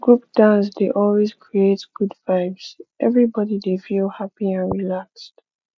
group dance dey always create good vibes everybody dey feel happy and relaxed